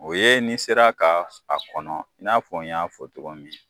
O ye ni sera ka a kɔnɔ i n'a fɔ n y'a fɔ cogo min